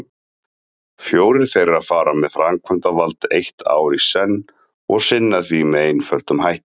Fjórir þeirra fara með framkvæmdavald eitt ár í senn og sinna því með einföldum hætti.